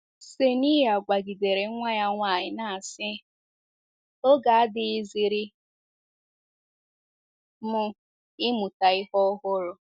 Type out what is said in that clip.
Kseniya gwagidere nwa ya nwanyị na asị, “ Oge adịghịziri m ịmụta ihe ọhụrụ. ”